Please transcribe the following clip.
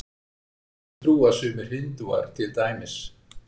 Þessu trúa sumir Hindúar til dæmis.